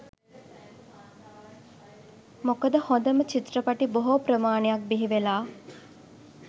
මොකද හොඳම චිත්‍රපටි බොහෝ ප්‍රමාණයක් බිහිවෙලා